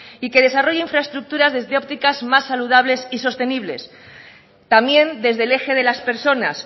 y que desarrolle infraestructuras desde ópticas más saludables y sostenibles también desde el eje de las personas